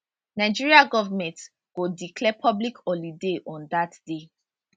nigeria goment go declare public holiday on dat day